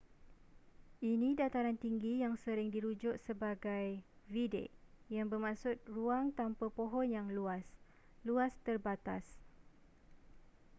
ini dataran tinggi yang sering dirujuk sebagai vidde yang bermaksud ruang tanpa pohon yang luas luas terbatas